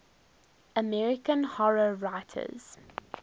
american horror writers